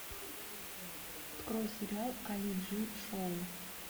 открой сериал али джи шоу